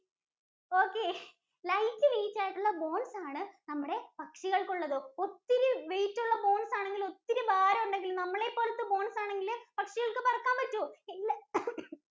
Okay, light weight ആയിട്ടുള്ള bones ആണ് നമ്മുടെ പക്ഷികൾക്കുള്ളത്. ഒത്തിരി weight ഉള്ള bones ആണെങ്കിലും, ഒത്തിരി ഭാരമുണ്ടെങ്കിലും നമ്മളെപ്പോലത്തെ bones ആണെങ്കില് പക്ഷികൾക്ക് പറക്കാൻ പറ്റോ? ഇല്ല